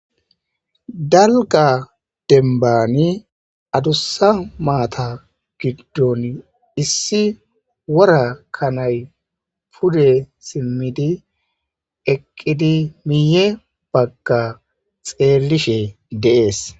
Dalgga dembanni adussa maatha giddoni issi wora kanay pudde simmidi eqqidi miye bagga xelishshe dees.